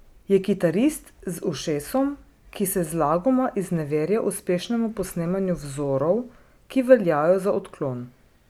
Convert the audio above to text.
Je kitarist z ušesom, ki se zlagoma izneverja uspešnemu posnemanju vzorov, ki veljajo za odklon.